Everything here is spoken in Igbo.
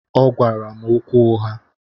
Ọgwara m okwu ụgha.